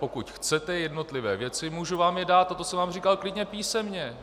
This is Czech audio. Pokud chcete jednotlivé věci, můžu vám je dát, a to jsem vám říkal, klidně písemně.